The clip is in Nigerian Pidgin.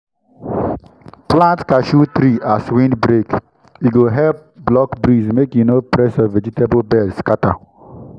plant cashew tree as windbreak—e go help block breeze make e no press your vegetable bed scatter.